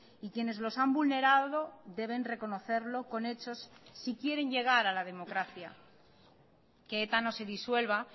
y quienes los han vulnerado deben reconocerlo con hechos si quieren llegar a la democracia que eta no se disuelva